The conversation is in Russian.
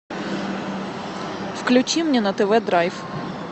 включи мне на тв драйв